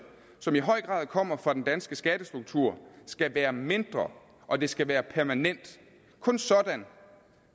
som i høj grad kommer fra den danske skattestruktur skal være mindre og de skal være permanente kun sådan